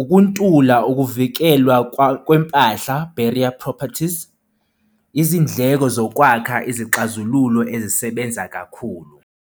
ukuntula ukuvikelwa kwempahla berea properties. Izindleko zokwakha izixazululo ezisebenza kakhulu.